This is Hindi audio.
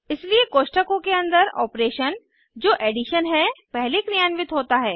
इसलिए कोष्ठकों के अंदर ऑपरेशन जो एडिशन है पहले क्रियान्वित होता है